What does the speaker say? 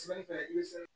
Sɛnɛfɛn i se